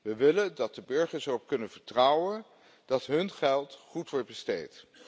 We willen dat de burgers erop kunnen vertrouwen dat hun geld goed wordt besteed.